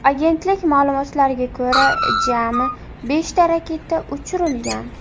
Agentlik ma’lumotlariga ko‘ra, jami beshta raketa uchirilgan.